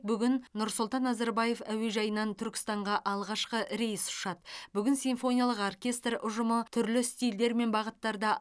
бүгін нұрсултан назарбаев әуежайынан түркістанға алғашқы рейс ұшады бүгін симфониялық оркестрі ұжымы түрлі стильдермен бағыттарда